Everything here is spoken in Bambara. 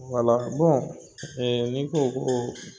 Wala ni n ko ko